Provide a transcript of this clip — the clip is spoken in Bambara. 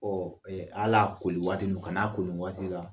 hal'a koli waati nun ka n'a ko nin waati la.